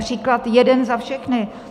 Příklad jeden za všechny.